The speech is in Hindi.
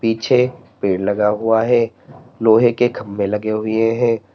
पीछे पेड़ लगा हुआ है लोहे के खंभे लगे हुए हैं।